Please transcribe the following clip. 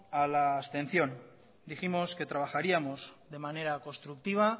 a la abstención dijimos que trabajaríamos de manera constructiva